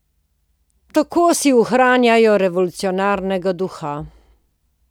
Tako si ohranjajo revolucionarnega duha.